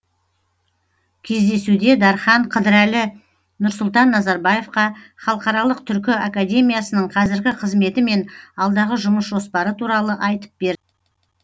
кездесуде дархан қыдырәлі нұрсұлтан назарбаевқа халықаралық түркі академиясының қазіргі қызметі мен алдағы жұмыс жоспары туралы айтып берді